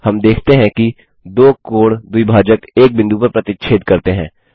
हम देखते हैं कि दो कोण द्विभाजक एक बिंदु पर प्रतिच्छेद करते हैं